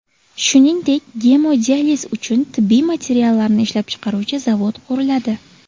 Shuningdek, gemodializ uchun tibbiy materiallarni ishlab chiqaruvchi zavod quriladi.